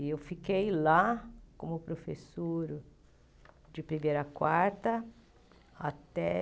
E eu fiquei lá como professora de primeira a quarta até